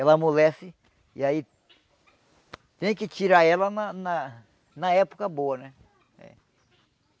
Ela amolece e aí tem que tirar ela na na na época boa, né?